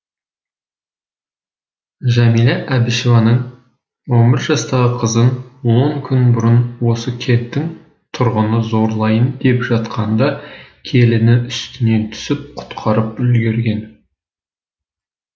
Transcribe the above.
жәмила әбішеваның он бір жастағы қызын он күн бұрын осы кенттің тұрғыны зорлайын деп жатқанда келіні үстінен түсіп құтқарып үлгерген